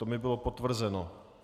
To mi bylo potvrzeno.